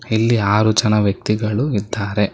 ಇಲ್ಲಿ ಆರು ಜನ ವ್ಯಕ್ತಿಗಳು ಇದ್ದಾರೆ.